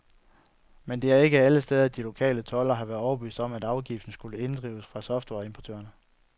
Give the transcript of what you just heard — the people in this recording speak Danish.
Men det er ikke alle steder, de lokale toldere har været overbevist om, at afgiften skulle inddrives fra softwareimportørerne.